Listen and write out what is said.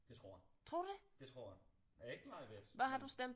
Det tror jeg det tror jeg jeg er ikke meget ved det men